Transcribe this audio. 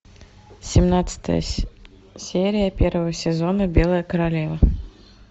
семнадцатая серия первого сезона белая королева